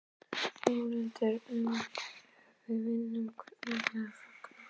Þórhildur: En ef við vinnum, hvernig ætlið þið að fagna?